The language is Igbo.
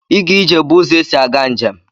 Ịga ije bụ ụzọ esi aga njem.